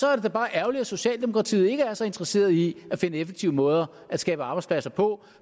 er bare ærgerligt at socialdemokratiet så ikke er så interesseret i at finde effektive måder at skabe arbejdspladser på